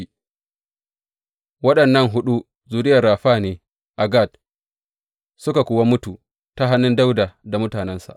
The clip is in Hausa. Waɗannan huɗu zuriyar Rafa ne a Gat, suka kuwa mutu ta hannu Dawuda da mutanensa.